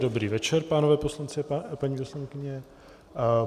Dobrý večer, páni poslanci a paní poslankyně.